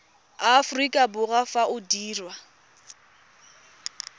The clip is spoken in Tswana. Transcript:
aforika borwa fa o dirwa